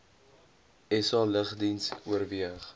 sa lugdiens oorweeg